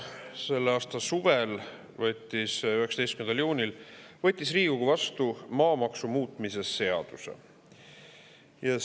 Selle aasta suvel 19. juunil võttis Riigikogu vastu maamaksu muutmise seaduse.